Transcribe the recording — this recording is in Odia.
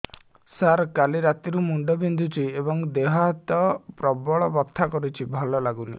ସାର କାଲି ରାତିଠୁ ମୁଣ୍ଡ ବିନ୍ଧୁଛି ଏବଂ ଦେହ ହାତ ପ୍ରବଳ ବଥା କିଛି ଭଲ ଲାଗୁନି